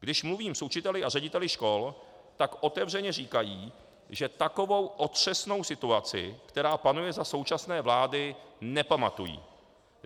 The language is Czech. Když mluvím s učiteli a řediteli škol, tak otevřeně říkají, že takovou otřesnou situaci, která panuje za současné vlády, nepamatují.